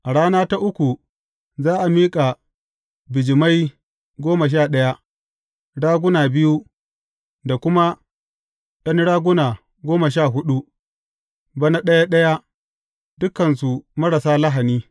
A rana ta uku za a miƙa bijimai goma sha ɗaya, raguna biyu, da kuma ’yan raguna goma sha huɗu, bana ɗaya ɗaya, dukansu marasa lahani.